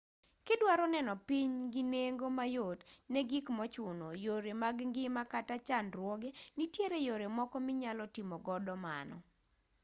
kidwaro neno piny gi nengo mayot ne gik mochuno yore mag ngima kata chandruoge nitiere yore moko minyalo timogo mano